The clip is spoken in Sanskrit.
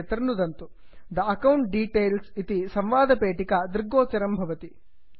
the account details the account details इति संवादपेटिका दृग्गोचरं भवति